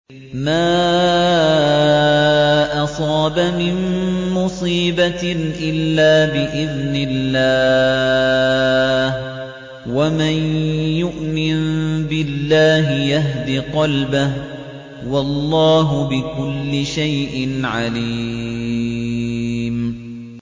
مَا أَصَابَ مِن مُّصِيبَةٍ إِلَّا بِإِذْنِ اللَّهِ ۗ وَمَن يُؤْمِن بِاللَّهِ يَهْدِ قَلْبَهُ ۚ وَاللَّهُ بِكُلِّ شَيْءٍ عَلِيمٌ